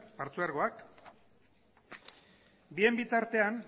partzuergoak bien bitartean